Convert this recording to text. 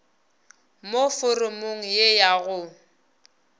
mo foromong ye ya go